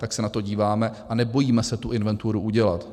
Tak se na to díváme a nebojíme se tu inventuru udělat.